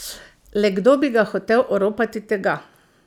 Le kdo bi ga hotel oropati tega?